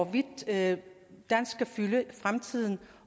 vi vil have i fremtiden